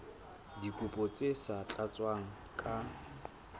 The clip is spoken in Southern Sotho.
dikopo tse sa tlatswang ka